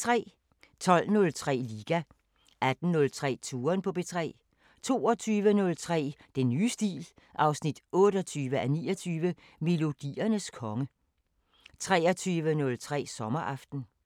12:03: Liga 18:03: Touren på P3 22:03: Den nye stil 28:29 – Melodiernes konge 23:03: Sommeraften